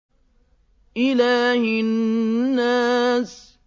إِلَٰهِ النَّاسِ